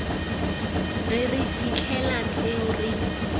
re re fitlhela tseo re